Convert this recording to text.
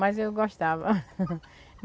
Mas eu gostava.